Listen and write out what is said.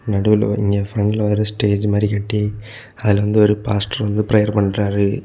நடுவுல ஒரு இங்க பிரண்ட்ல ஒரு ஸ்டேஜ் மாதிரி கட்டி அதுல வந்து ஒரு பாஸ்டர் வந்து பிரேயர் பண்றாரு.